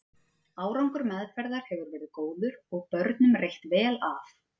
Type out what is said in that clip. Árangur meðferðar hefur verið góður og börnunum reitt vel af.